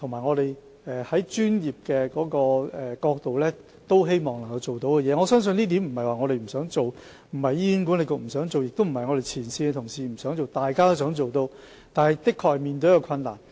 我相信問題並不是我們不想做，不是醫管局不想做，亦不是前線同事不想做，這是大家都希望做到的，但我們的確面對困難。